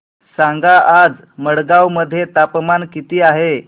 सांगा आज मडगाव मध्ये तापमान किती आहे